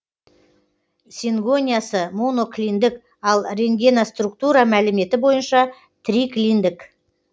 сингониясы моноклиндік ал рентгеноструктура мәліметі бойынша триклиндік